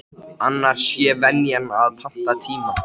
Annars sé venjan að panta tíma.